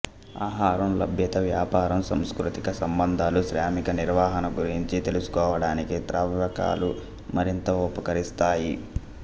ఆహారం లభ్యత వ్యాపారం సాంస్కృతిక సంబంధాలు శ్రామిక నిర్వహణ గురించి తెలుసుకోవడానికి త్రవ్వకాలు మరింత ఉపకరిస్తాయి